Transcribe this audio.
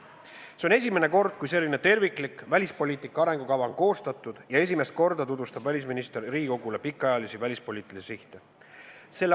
See on esimene kord, kui selline terviklik välispoliitika arengukava on koostatud, ja esimest korda tutvustab välisminister Riigikogule pikaajalisi välispoliitilisi sihte.